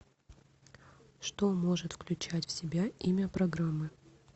что может включать в себя имя программы